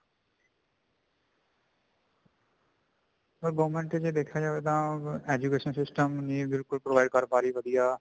government ਜੇ ਦੇਖਿਆ ਜਾਵੇ ਤਾਂ education system ਨੀ ਬਿਲਕੁਲ ਨੀ provide ਕਰ ਰਹੀ ਵਧੀਆ